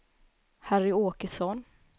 Harry Åkesson